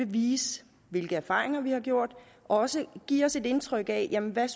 vise hvilke erfaringer vi har gjort og også give os et indtryk af hvad